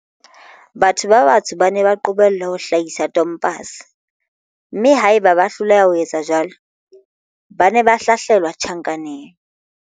Batho ba batsho ba ne ba qobellwa ho hlahisa tompase, mme haeba bane ba hloleha ho etsa jwalo, ba ne ba hlahlelwa tjhankaneng.